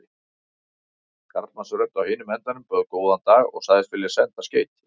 Karlmannsrödd á hinum endanum bauð góðan dag og sagðist vilja senda skeyti.